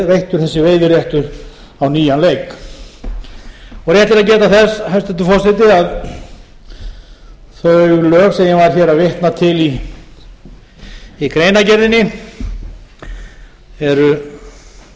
veittur þessi veiðiréttur á nýjan leik rétt er að geta þess hæstvirtur forseti að þau lög sem ég var að vitna til í greinargerðinni eru